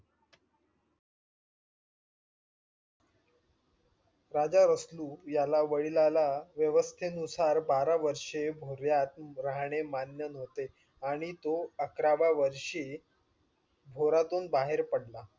राजा रसलू याला वडिलाला व्यवस्थेनुसार बारा वर्ष भव्यत राहणे मान्य न्हवते आणि तो अकराव्या वर्षी भोरातून बाहेर पडला.